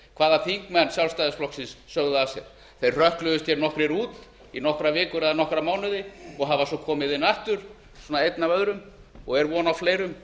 hvaða þingmenn sjálfstæðisflokksins sögðu af sér þeir hrökkluðust hér nokkrir út í nokkrar vikur eða nokkra mánuði og hafa svo komið inn aftur einn af öðrum og er von á fleirum